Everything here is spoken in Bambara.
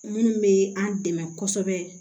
Minnu bɛ an dɛmɛ kosɛbɛ